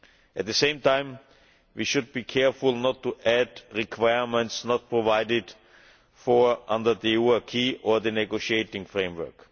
At the same time, we should be careful not to add requirements not provided for under the EU acquis or the negotiating framework.